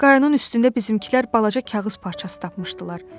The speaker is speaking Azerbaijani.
Qaynın üstündə bizimkilər balaca kağız parçası tapmışdılar.